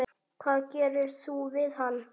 Hvað gerir þú við hana?